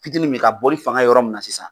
Fitini min ka boli fanga yɔrɔ minna sisan